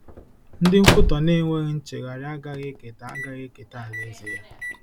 Ndị nkwutọ na-enweghị nchegharị agaghị eketa agaghị eketa Alaeze ya.